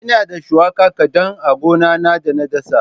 Ina da shuwaka kaɗan a gona na da na dasa.